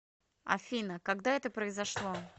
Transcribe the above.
афина когда это произошло